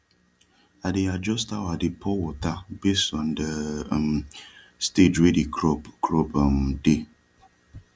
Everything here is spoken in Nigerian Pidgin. i dey adjust how i dey pour wata base on de um stage wey de crop crop um dey